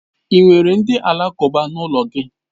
Ị nwere ndị alakụba n'ụlọ gị?